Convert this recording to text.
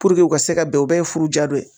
u ka se ka bɛn o bɛɛ ye furu diya dɔ ye